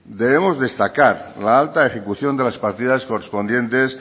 debemos destacar la alta ejecución de las partidas correspondientes